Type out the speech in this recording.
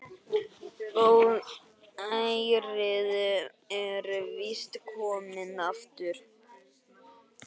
Góðærið er víst komið aftur.